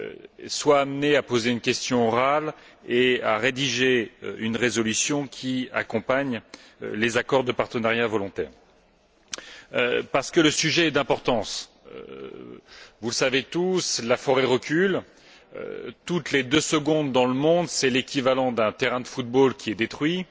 et soit amené à poser une question orale et à rédiger une résolution qui accompagne les accords de partenariat volontaire. Le sujet est d'importance. Vous le savez tous, la forêt recule. Toutes les deux secondes dans le monde, c'est l'équivalent d'un terrain de football qui est détruit,